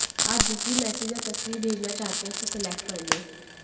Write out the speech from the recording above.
आप जिसे भी मैसेज या तस्वीर भेजना चाहते हैं उसे सेलेक्ट कर लें